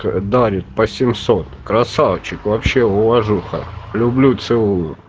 дарит по семьсот красавчик вообще уважуха люблю целую